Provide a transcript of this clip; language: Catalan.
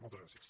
moltes gràcies